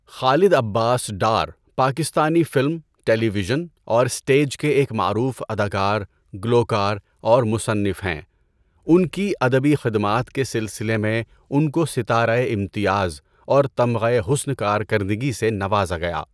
خالد Abbas Dar Pakistani film, television اور stage کے ایک معروف اداکار، گلوکار اور مصنف ہیں۔ ان کی ادبی خدمات کے سلسلے میں ان کو ستارۂ امتیاز اور تمغۂ حسن کارکردگی سے نوازا گیا۔